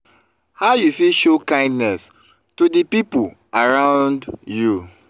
how you fit show kindness to di people around you?